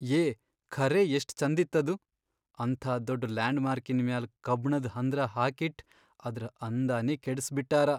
ಯೇ ಖರೇ ಎಷ್ಟ್ ಛಂದಿತ್ತದು, ಅಂಥಾ ದೊಡ್ಡ್ ಲ್ಯಾಂಡ್ಮಾರ್ಕಿನ್ ಮ್ಯಾಲ್ ಕಬ್ಣದ್ ಹಂದ್ರ ಹಾಕಿಟ್ಟ್ ಅದ್ರ್ ಅಂದಾನೇ ಕೆಡಸ್ಬಿಟ್ಟಾರ.